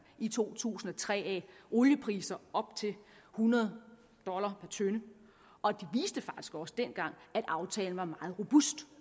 i to tusind og tre af oliepriser op til hundrede dollar per tønde og de viste faktisk også dengang at aftalen var meget robust